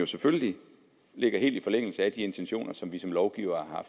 selvfølgelig ligger helt i forlængelse af de intentioner som vi som lovgivere